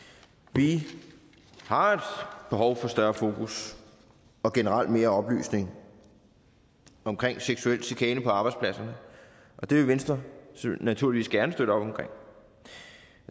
vi har et behov for større fokus og generelt mere oplysning omkring seksuel chikane på arbejdspladserne og det vil venstre naturligvis gerne støtte op om